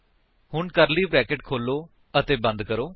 ਹੁਣ curly bracket ਖੋਲੋ ਅਤੇ ਬੰਦ ਕਰੋ